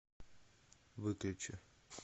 выключи